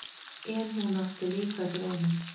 En hún átti líka drauma.